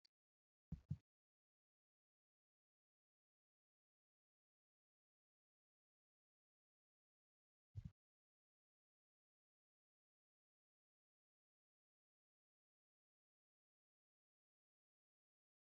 Kitaabni kuusaa yookiin galmee barreeffamaa yookiin beekumsaa guddaadhan. Kitaabni madda beekumsaati. Kitaabni kan barraa'u hayyoota yookiin beektotaanifi qorannoo fi qo'annoo bal'aan erga irratti godhameeti. Namoonnis kitaaba kan dubbisaniif beekumsa irraa argachuuf.